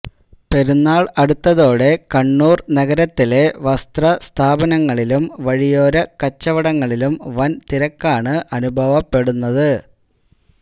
പെരുന്നാള് അടുത്തതോടെ കണ്ണൂര് നഗരത്തിലെ വസ്ത്രസ്ഥാപനങ്ങളിലും വഴിയോര കച്ചവടങ്ങളിലും വന്തിരക്കാണ് അനുഭവപ്പെടുന്നത്